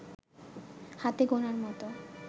হাতে গোনার মতো